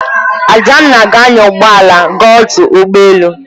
Adanna ga-anya ụgbọ ala gaa ọdụ ụgbọ elu.